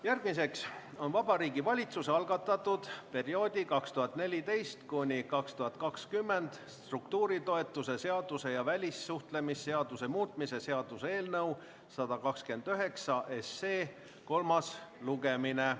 Järgmine on Vabariigi Valitsuse algatatud perioodi 2014–2020 struktuuritoetuse seaduse ja välissuhtlemisseaduse muutmise seaduse eelnõu 129 kolmas lugemine.